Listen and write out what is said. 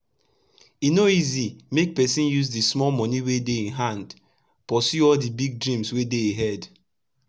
e no easi make pesin use d small moni wey dey e hand pursue all d big dreams wey dey e head